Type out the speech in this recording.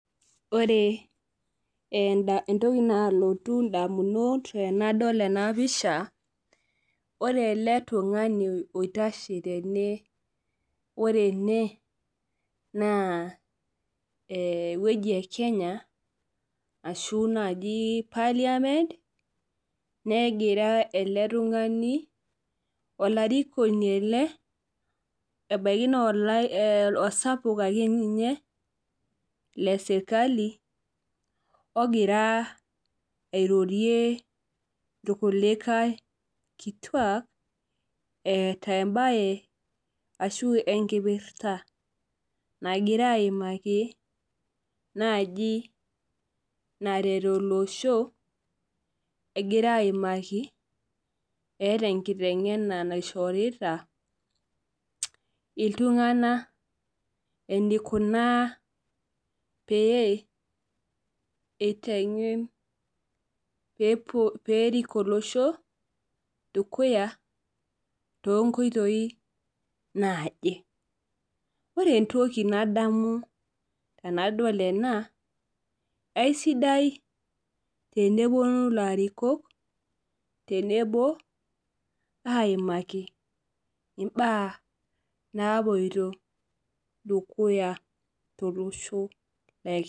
Ore entoki nalotu ndamunot tenadol ena pisha, ore ele tungani oitashe tene, ore ene naa eweji ekenya ashu parliament olarikoni ele tungani ebaiki naa osapuk ake ninye lesirkali ogira airorie irkulikae ashua eeta emabe ashu enkipirta nagira aimaki naaji naret olosho. Egira aimaki eeta enkitengena naishorita iltunganak enikuna pee eitengen pee erik olosho dukuya toonkoitoi naaje. Ore entoki nadamu tenadol ena, eisidai tenepuonu ilarikok aimaki mbaa naapoito dukuya tolosho lekenya.